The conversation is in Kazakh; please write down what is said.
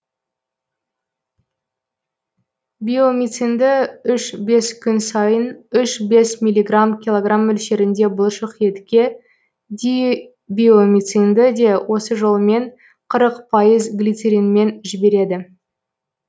биомицинді үш бес күн сайын үш бес миллиграмм килограмм мөлшеріне бұлшық етке дибиомицинді де осы жолмен қырық пайыз глицеринмен жібереді